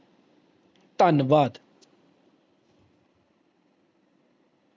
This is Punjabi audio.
ਧੰਨਵਾਦ